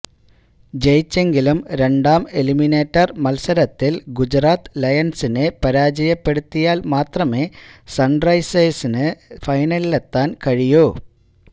ജയിച്ചെങ്കിലും രണ്ടാം എലിമിനേറ്റര് മത്സരത്തില് ഗുജറാത്ത് ലയണ്സിനെ പരാജയപ്പെടുത്തിയാല് മാത്രമേ സണ്റൈസേഴ്സിന് ഫൈനലിലെത്താന് കഴിയൂ